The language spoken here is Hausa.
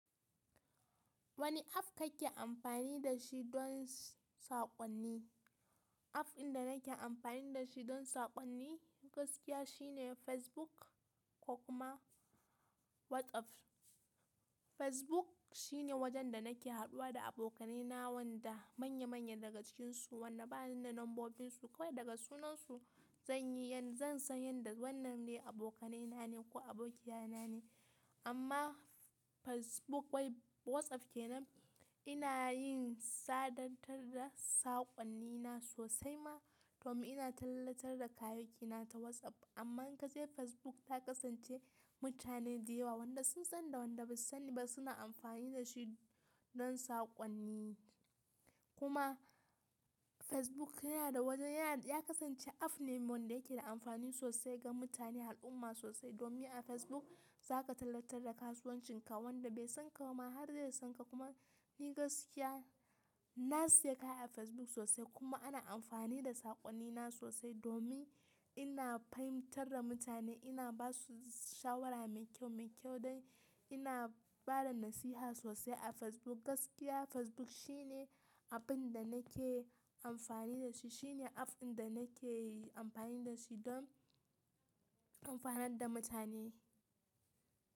Wani app kake amfani da shi don saƙonni? App ɗin da nake amfani da shi don saƙonni gaskiya shine Facebook ko kuma WhatsApp. Facebook shine wajen da nake haɗuwa da abokanaina wanda manya manya daga cikinsu wanda bani da lambobinsu kawai daga sunansu zan yi zan san yadda wannan ne abokanaina ne ko abokiyaina ne. Amma Facebook wai WhatsApp ke nan ina yin sadartar da saƙonnina sosai ma domin ina tallatar da kayayakina ta WhatsApp. Amma inkaje Facebook ta kasance mutane da yawa wanda sun sanni da wanda ba su sanni ba suna amfani da shi don saƙonni. Kuma Facebook yana da wajen yana ya kasance app ne wanda yake da amfani sosai ga mutane al'umma sosai domin a Facebook za ka tallatar da kasuwancinka wanda bai san ka ba har zai san ka kuma ni gaskiya na saye kaya a Facebook sosai kuma ana amfani da saƙonnina sosai domin ina fahimtar da mutane ina ba su shawara mai kyau mai kyau dai ina bada nasiha sosai a Facebook. Gaskiya Facebook shine abin da nake amfani da shi shine app ɗin da nake amfani da shi don amfanar da mutane.